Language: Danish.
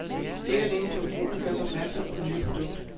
Ikke alene skal forbrugerne gøres opmærksom på det nye produkt.